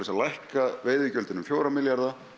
að lækka veiðigjöldin um fjóra milljarða